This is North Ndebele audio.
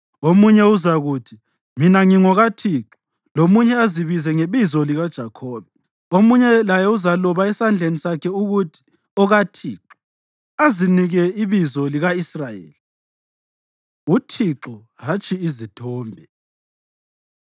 Omunye uzakuthi, ‘Mina ngingokaThixo’; lomunye azibize ngebizo likaJakhobe; omunye laye uzaloba esandleni sakhe ukuthi, ‘ OkaThixo,’ azinike ibizo lika-Israyeli.” UThixo Hatshi Izithombe